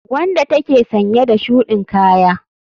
Wanda take sanye da shudin Kaya.